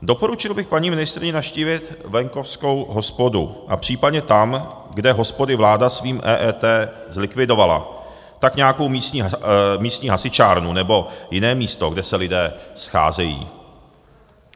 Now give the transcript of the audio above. Doporučil bych paní ministryni navštívit venkovskou hospodu a případně tam, kde hospody vláda svým EET zlikvidovala, tak nějakou místní hasičárnu nebo jiné místo, kde se lidé scházejí.